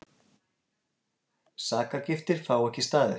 Sakargiftir fá ekki staðist